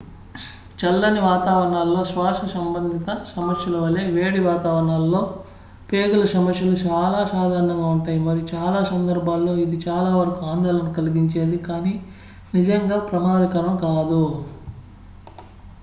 చల్లని వాతావరణాల్లో శ్వాస సంబంధిత సమస్యలు వలె వేడి వాతావరణాల్లో ప్రేగు ల సమస్యలు చాలా సాధారణంగా ఉంటాయి మరియు చాలా సందర్భాల్లో ఇది చాలా వరకు ఆందోళన కలిగించేది కానీ నిజంగా ప్రమాదకరం కాదు